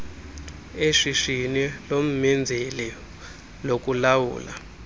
eshishini lommenzeli lokulawula